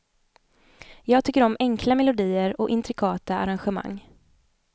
Jag tycker om enkla melodier och intrikata arrangemang.